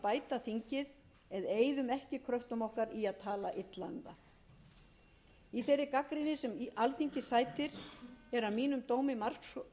bæta þingið en eyðum ekki kröftum okkar í að tala illa um það í þeirri gagnrýni sem alþingi sætir eru að mínum dómi margs